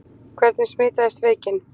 Hvernig smitaðist veikin?